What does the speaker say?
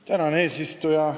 Austatud eesistuja!